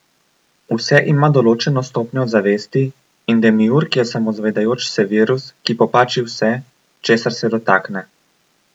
Vse ima določeno stopnjo zavesti in demiurg je samozavedajoč se virus, ki popači vse, česar se dotakne.